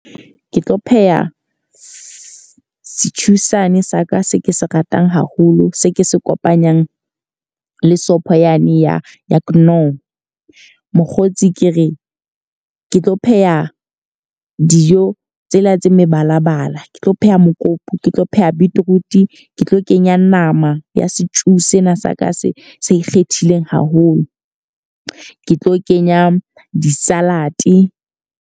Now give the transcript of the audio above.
Ke tlo pheha setjhu sane sa ka se ke se ratang haholo, se ke se kopanyang le sopho yane ya knorr. Mokgotsi ke re ke tlo pheha dijo tsena tse mebalabala. Ke tlo pheha mokopu ke tlo pheha beetroot, ke tlo kenya nama ya setjhu sena sa ka se se ikgethileng haholo. Ke tlo kenya di-salad.